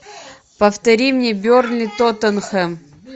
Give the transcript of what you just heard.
повтори мне бернли тоттенхэм